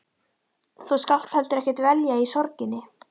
Þú skalt heldur ekki dvelja í sorginni.